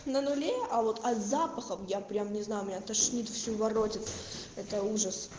на нуле а вот а с запахом я прям не знаю меня тошнит всю воротит это ужас